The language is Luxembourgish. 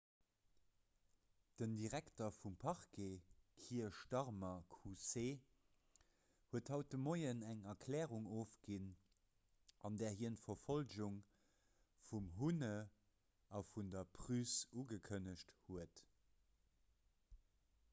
den direkter vum parquet kier starmer qc huet haut de mueren eng erklärung ofginn an där hien d'verfollegung vum huhne a vun der pryce ugekënnegt huet